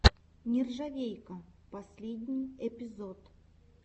нержавейка последний эпизод